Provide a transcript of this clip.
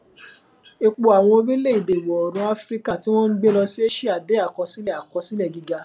epo àwọn orílẹèdè ìwọ oòrùn áfíríkà ti won n gbe lọ sí aṣíà de akosile akosile giga